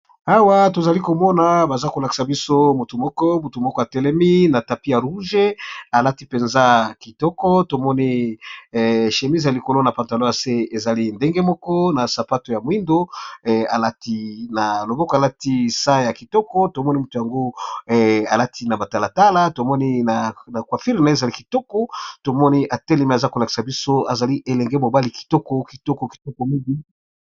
awa tozali komona baza kolakisa biso motu moko butu moko atelemi na tapi ya rouge alati mpenza kitoko tomoni shemise ya likolo na pantalo ya se ezali ndenge moko na sapato ya moindo alati na loboko alati sa ya kitoko tomoni motu yango alati na batalatala tomoni na quafirne ezali kitoko tomoni atelemi aza kolakisa biso ezali elenge mobali kitoko kitoko kitoko mingi